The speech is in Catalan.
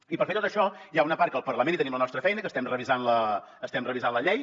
i per fer tot això hi ha una part que el parlament hi tenim la nostra feina que estem revisant la llei